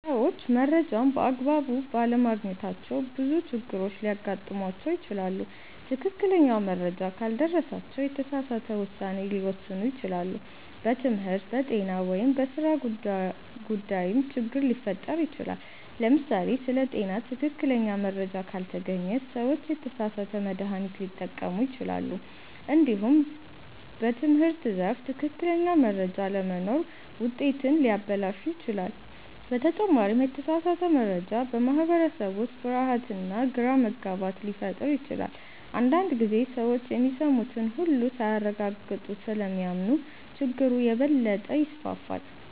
ሰዎች መረጃን በአግባቡ ባለማግኘታቸው ብዙ ችግሮች ሊያጋጥሟቸው ይችላሉ። ትክክለኛ መረጃ ካልደረሳቸው የተሳሳተ ውሳኔ ሊወስኑ ይችላሉ፣ በትምህርት፣ በጤና ወይም በሥራ ጉዳይም ችግር ሊፈጠር ይችላል። ለምሳሌ ስለ ጤና ትክክለኛ መረጃ ካልተገኘ ሰዎች የተሳሳተ መድሃኒት ሊጠቀሙ ይችላሉ። እንዲሁም በትምህርት ዘርፍ ትክክለኛ መረጃ አለመኖር ውጤትን ሊያበላሽ ይችላል። በተጨማሪም የተሳሳተ መረጃ በማህበረሰብ ውስጥ ፍርሃትና ግራ መጋባት ሊፈጥር ይችላል። አንዳንድ ጊዜ ሰዎች የሚሰሙትን ሁሉ ሳያረጋግጡ ስለሚያምኑ ችግሩ የበለጠ ይስፋፋል።